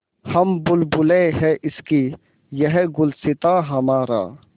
हम बुलबुलें हैं इसकी यह गुलसिताँ हमारा